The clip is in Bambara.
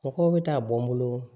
Mɔgɔw bɛ taa bɔ n bolo